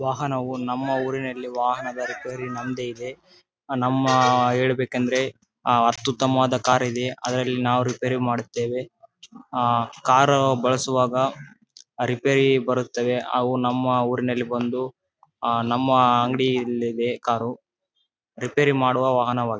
ವಾಹನವು ನಮ್ಮ ಊರಿನಲ್ಲಿ ವಾಹನದ ರಿಪೇರಿ ನಮ್ದೇ ಇದೆ ಆಹ್ಹ್ ನಮ್ಮ ಹೇಳ್ಬೇಕು ಅಂದ್ರೆ ಆ ಅತ್ಯುತಮವಾದ ಕಾರ್ ಇದೆ ಅದರಲ್ಲಿ ನಾವು ರಿಪೇರಿ ಮಾಡುತ್ತೇವೆ ಆ ಕಾರು ಬಳಸುವಾಗ ಆ ರಿಪೇರಿ ಬರುತದ್ದೆ. ಅವು ನಮ್ಮ ಊರಿನಲ್ಲಿ ಬಂದು ಆ ನಮ್ಮ ಅಂಗಡಿ ಅಲ್ಲಿ ಇದೆ ಕಾರು ರಿಪೇರಿ ಮಾಡುವ ವಾಹನವಾಗಿದೆ.